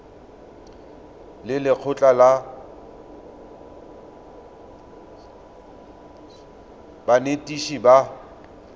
le lekgotlha la banetetshi ba